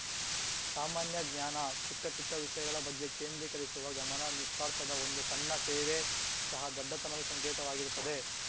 ಸಾಮಾನ್ಯ ಜ್ಞಾನ ಚಿಕ್ಕಚಿಕ್ಕ ವಿಷಯಗಳ ಬಗ್ಗೆ ಕೇಂದ್ರೀಕರಿಸುವ ಗಮನ ನಿಸ್ವಾರ್ಥದ ಒಂದು ಸಣ್ಣ ಸೇವೆ ಸಹಾ ದೊಡ್ಡತನದ ಸಂಕೇತವಾಗಿರುತ್ತದೆ